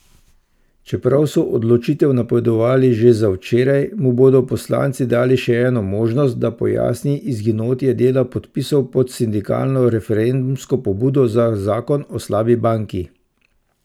Čeprav so odločitev napovedovali že za včeraj, mu bodo poslanci dali še eno možnost, da pojasni izginotje dela podpisov pod sindikalno referendumsko pobudo za zakon o slabi banki.